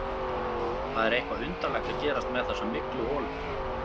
Það er eitthvað undarlegt að gerast með þessa mygluholu.